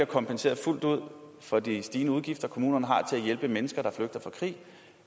kompenseret fuldt ud for de stigende udgifter kommunerne har til at hjælpe mennesker der flygter fra krig